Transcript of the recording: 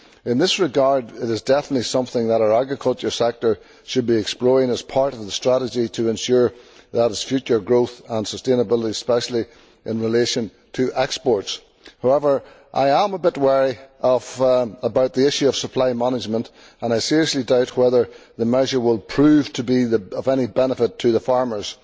In this regard, it is definitely something that our agriculture sector should be exploring as part of the strategy, in order to ensure its future growth and sustainability especially in relation to exports. However, I am a bit wary about the issue of supply management and I seriously doubt whether the measure will prove to be of any benefit to farmers.